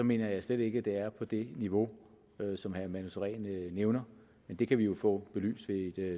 mener jeg slet ikke at det er på det niveau som herre manu sareen nævner men det kan vi jo få belyst ved